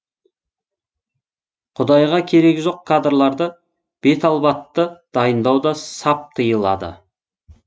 құдайға керегі жоқ кадрларды беталбатты дайындау да сап тиылады